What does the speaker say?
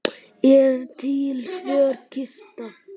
Er til svört kista?